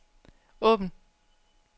åbn